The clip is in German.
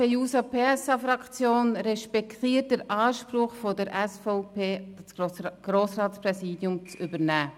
DieSP-JUSO-PSA-Fraktion respektiert den Anspruch der SVP, das Grossratspräsidium zu übernehmen.